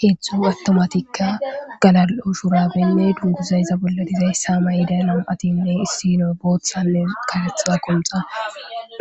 Heezhzhu attumatika gallali'o shurabene dunguzay izza bolla dizayssa mayiday nam'atine issino booththanne kareththa qonxxa